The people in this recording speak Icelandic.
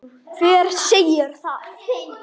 Þegi þú!